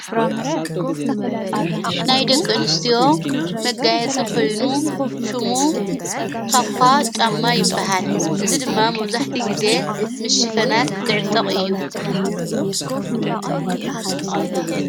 ናይ ደቅንስትዎ መጋየጽ ኽልኑ ሹሙ ታኳ ጣማ ይበሃል እዝ ድማ መውዛሕቲ ጊዜ ምስ ሽፈናት ዝዕጥቕ እዩ::